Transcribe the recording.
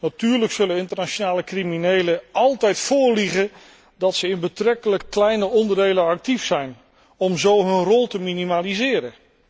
Natuurlijk zullen internationale criminelen altijd voorliegen dat ze in betrekkelijk kleine onderdelen actief zijn, om zo hun rol te minimaliseren.